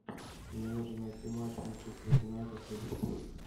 мне нужно найти матч манчестер юнайтед ливерпуль